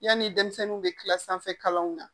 Yanni denmisɛnninw bɛ tila sanfɛ kalanw na